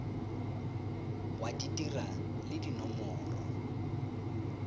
wa di dira le dinomoro